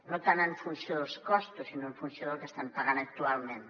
no tant en funció dels costos sinó en funció del que estan pagant actualment